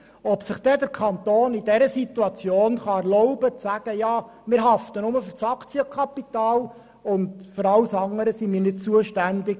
Ich weiss nicht, ob es sich der Kanton in dieser Situation erlauben kann, zu sagen, er hafte nur für das Aktienkapital und sei für alles andere nicht zuständig.